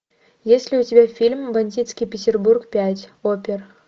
есть ли у тебя фильм бандитский петербург пять опер